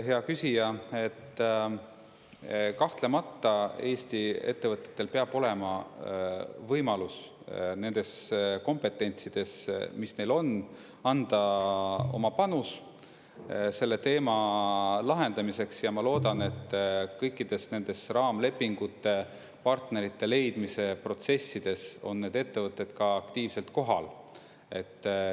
Hea küsija, kahtlemata Eesti ettevõtetel peab olema võimalus, nendes kompetentsides, mis neil on, anda oma panus selle teema lahendamiseks ja ma loodan, et kõikides nendes raamlepingute partnerite leidmise protsessides on need ettevõtted ka aktiivselt kohal.